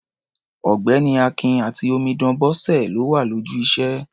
Ọ̀gbẹ́ni Akin àti omidan Bọ́sẹ̀ ló wà lójú iṣẹ́.